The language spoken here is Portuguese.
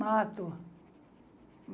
Mato.